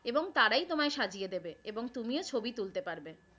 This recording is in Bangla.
এবং তারাই তোমায় সাজিয়ে দেবে এবং তুমিও ছবি তুলতে পারবে।